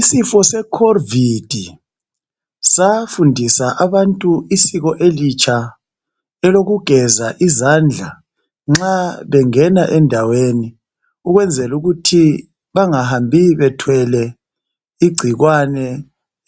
Isifo secovid safundisa abantu isiko elitsha elokugeza izandla nxa bengena endaweni ukwenzelukuthi bangahambi bethwele igcikwane